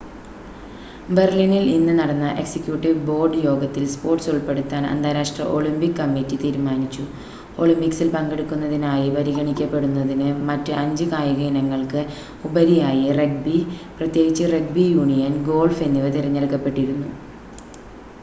ബെർലിനിൽ ഇന്ന് നടന്ന executive board യോഗത്തിൽ സ്പോർട്‌സ് ഉൾപ്പെടുത്താൻ അന്താരാഷ്‌ട്ര ഒളിമ്പിക് കമ്മിറ്റി തീരുമാനിച്ചു ഒളിമ്പിക്സിൽ പങ്കെടുക്കുന്നതിനായി പരിഗണിക്കപ്പെടുന്നതിന് മറ്റ് അഞ്ച് കായിക ഇനങ്ങൾക്ക് ഉപരിയായി റഗ്ബി പ്രത്യേകിച്ച് റഗ്ബി യൂണിയൻ ഗോൾഫ് എന്നിവ തിരഞ്ഞെടുക്കപ്പെട്ടിരുന്നു